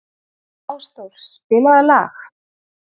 Ásdór, spilaðu lag.